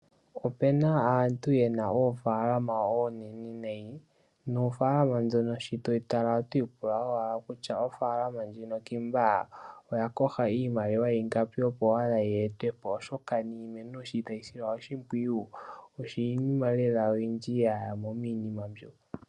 Opena aantu yena oofaalama onene nayi, noofalama dhono sho toyi tala otwiipula owala kutya ofaalama ndjino ngiika oya kotha iimaliwa ingapi, opo owala yeetwepo oshoka niimeno sho tayi silwa oshimpwiyu iinima oyindji ya yamo lela miinima mbyo.